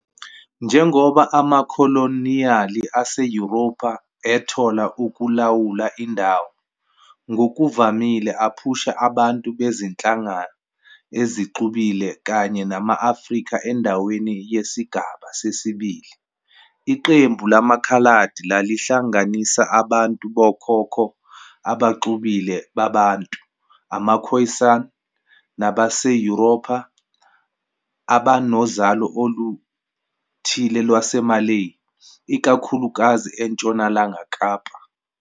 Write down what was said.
Njengoba amakholoniyali aseYurophu ethola ukulawula indawo, ngokuvamile aphusha abantu bezinhlanga ezixubile kanye nama-Afrika endaweni yesigaba sesibili. Iqembu lamaKhaladi lalihlanganisa abantu bokhokho abaxubile baBantu, amaKhoisan, nabaseYurophu, abanozalo oluthile lwaseMalay, ikakhulukazi eNtshonalanga Kapa.